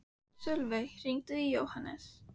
Sölvey, hringdu í Jóhannes.